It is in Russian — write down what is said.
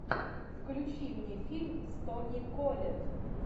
включи мне фильм с тони коллетт